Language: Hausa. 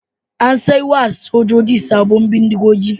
An sai wa sojoji sabbin bindigogi.